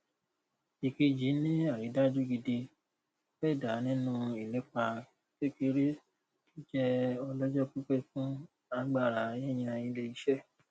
èkejì ni àrídájú gidi feda nínú ìlépa kékeré tó jẹ ọlọjọ pípẹ fún agbára yíyan iléiṣẹ